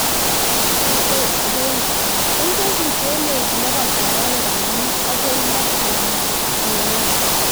Kong'tos mochelek ilebata orowek ang'wanu agoi loo en minet.